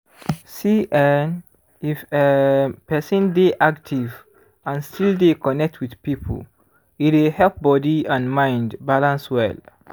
see[um]if um person dey active and still dey connect with people e dey help body and mind balance well